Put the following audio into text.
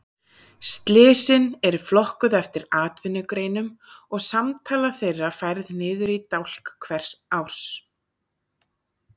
Slysin eru flokkuð eftir atvinnugreinum og samtala þeirra færð niður í dálk hvers árs.